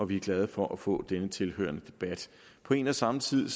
vi er glade for at få denne tilhørende debat på en og samme tid